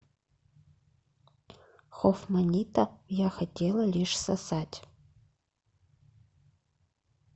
хофманита я хотела лишь сосать